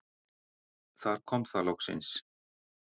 Þar kom það loksins.